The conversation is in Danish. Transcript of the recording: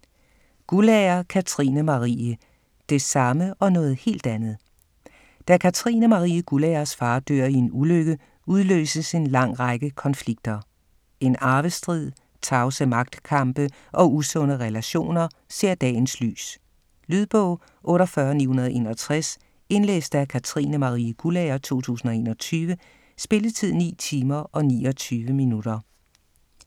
Guldager, Katrine Marie: Det samme og noget helt andet Da Katrine Marie Guldagers far dør i en ulykke, udløses en lang række konflikter. En arvestrid, tavse magtkampe og usunde relationer ser dagens lys. Lydbog 48961 Indlæst af Katrine Marie Guldager, 2021. Spilletid: 9 timer, 29 minutter.